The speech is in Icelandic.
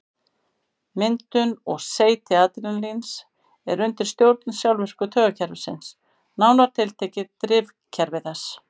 Myndun og seyti adrenalíns er undir stjórn sjálfvirka taugakerfisins, nánar tiltekið drifkerfi þess.